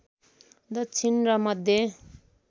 दक्षिणी र मध्य